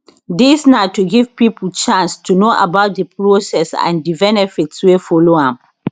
dis na to give pipo chance to know about di process and di benefits wey follow am